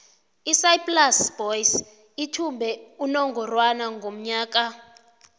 isaaiplas boys ithumbe unongorwana ngonyaka ka